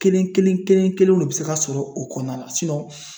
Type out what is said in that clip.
Kelen kelen kelen kelen kelenw ne be se ka sɔrɔ o kɔnɔna la sinɔn